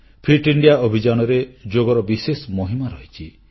fit India ଅଭିଯାନରେ ଯୋଗର ବିଶେଷ ମହିମା ରହିଛି